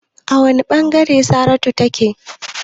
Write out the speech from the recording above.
A wane bangare Saratu take?